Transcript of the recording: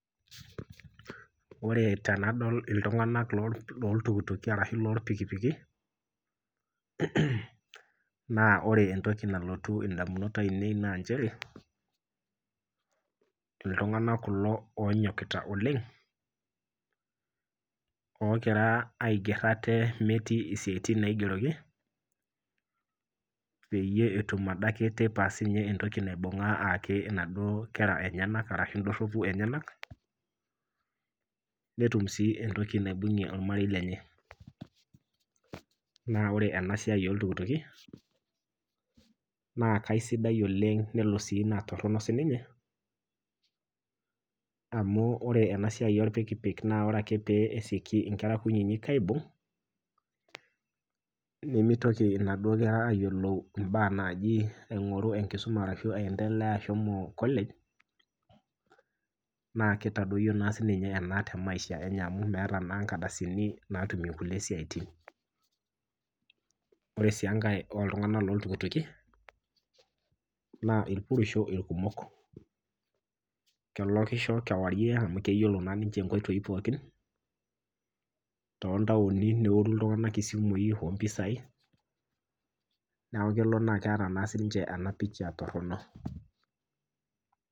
Ore tenadol iltunganak loltukituki ashu lorpikipiki naa ore entoki nalotu ndamunot ainei naa chere iltunganak kulo oonyokita oleng oogira aiger ate metii siatin naigeroki ,peyie etum adake teipa entoki naibungaa ayaki naduo kera enyenak ashu ndoropu enyenak ,netum sii entoki naibungie ormarei lenye .naa ore ena siai oltukituki naa keisidai oleng naa nelo sii naa torok siininye ,amu ore ena siai orpikipik ore ake pee esioki nkera aibung ,nemitoki naduo kera adamu ajo enkisuma ashu ashomo college naa kitadoyio naa siininye ena temaisha amu meeta naa nkardasini natumie nkulie siaitin. ore sii enkae oltunganak loltukituki naa irpurisho irkumok, kelokisho kewarie amu keyiolo naa ninche nkoitoi pookin ,toontaoni neori iltungank isimui ompisai ,neeku kelo neeta siininche ena picha torok.